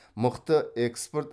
мықты экспорт